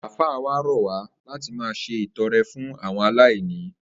Àfáà wa rò̩ wá láti máa s̩e ìto̩re̩ fún àwo̩n aláìní